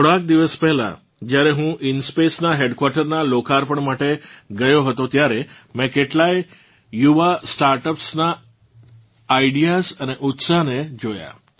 થોડાંક દિવસ પહેલાં જ્યારે હું ઇન્સ્પેસ નાં હેડક્વાર્ટર નાં લોકાર્પણ માટે ગયો હતો ત્યારે મેં કેટલાંય યુવા સ્ટાર્ટઅપ્સ નાં આઇડિયાઝ અને ઉત્સાહને જોયાં